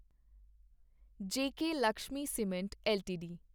JK Lakshmi cement LTD